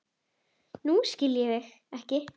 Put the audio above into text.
Nú skil ég þig ekki.